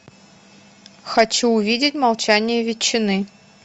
хочу увидеть молчание ветчины